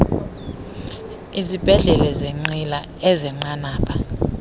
izibhedlele zeenqila ezenqanaba